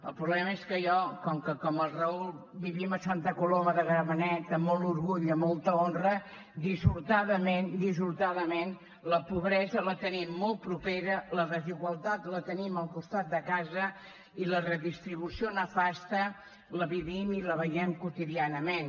el problema és que jo com que com el raúl vivim a santa coloma de gramenet amb molt orgull i amb molta honra dissortadament dissortadament la pobresa la tenim molt propera la desigualtat la tenim al costat de casa i la redistribució nefasta la vivim i la veiem quotidianament